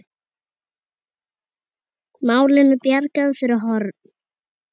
Málinu bjargað fyrir horn.